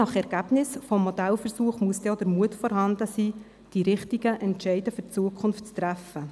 Je nach Ergebnis des Modellversuchs wird der Mut vorhanden sein müssen, die richtigen Entscheide für die Zukunft zu treffen.